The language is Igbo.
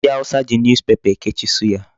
Ndị awụsa ji Newspaper ekechi suya.